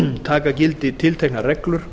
taka gildi tilteknar reglur